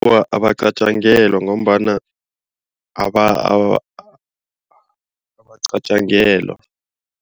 Awa abacatjangelwa ngombana abacatjangelwa.